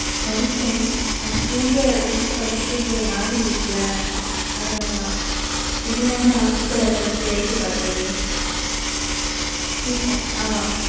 படிப்பேன். அது போக, ரொம்ப படிச்சுட்டே இருந்தா ஒரு மாதிரி இருக்குல்ல? அதனாலதான். இல்லேன்னா நானும் book அ திறந்து வச்சுட்டே, வேடிக்கை பார்க்கிறது. free time ஆமா.